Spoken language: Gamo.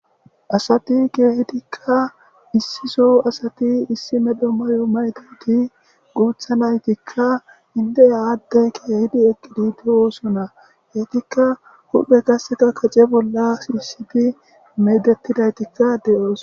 Asati keehidikka issiso asati issi medho mayo mayidayti guutha naytikka indeya addey keehidi eqqidi de7oosona. Eetikka huphe qasseka kace bolla shiisidi medettidaytikka de7oos.